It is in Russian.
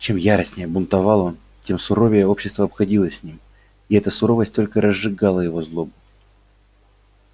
чем яростнее бунтовал он тем суровее общество обходилось с ним и эта суровость только разжигала его злобу